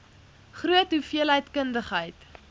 groot hoeveelheid kundigheid